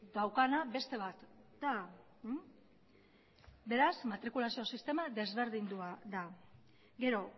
daukana beste bat da beraz matrikulazio sistema desberdindua da gero